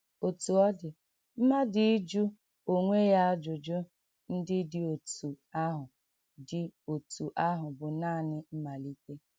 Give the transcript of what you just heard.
Otú ọ dị, mmadụ ịjụ onwe ya ajụjụ ndị dị otú ahụ dị otú ahụ bụ nanị mmalite.